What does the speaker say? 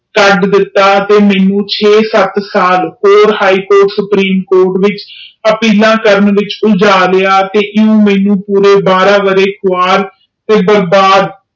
ਕਾਰਨ ਦਿਤਾ ਤੇ ਮੇਨੂ ਪੰਜ ਸ਼ੇ ਸਾਲ ਹਾਈ ਕੋਟ ਚ ਸੁਪਰੇ ਕੋਟ ਚ ਉਲਜਾ ਦਿਤਾ ਤੇ ਯੂ ਹੀ ਬਾਰਹ ਵਜੇ ਤੇ ਕਾਰਟਰ